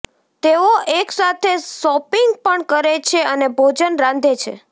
તેઓ એકસાથે શોપિંગ પણ કરે છે અને ભોજન રાંધે છે